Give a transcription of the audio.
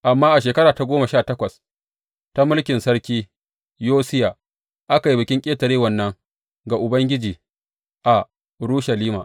Amma a shekara ta goma sha takwas ta mulkin sarki Yosiya, aka yi Bikin Ƙetarewan nan ga Ubangiji a Urushalima.